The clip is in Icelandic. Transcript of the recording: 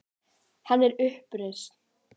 Hann er upprisinn.